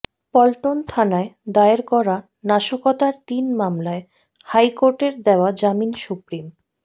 পল্টন থানায় দায়ের করা নাশকতার তিন মামলায় হাইকোর্টের দেয়া জামিন সুপ্রিম